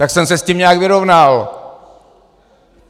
Tak jsem se s tím nějak vyrovnal.